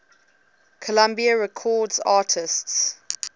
columbia records artists